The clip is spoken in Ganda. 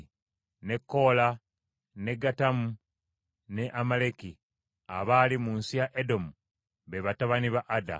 ne Koola, ne Gatamu ne Amaleki abaali mu nsi ya Edomu be batabani ba Ada.